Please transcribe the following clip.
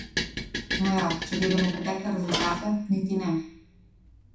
No ja, če gledamo pretekle rezultate, niti ne.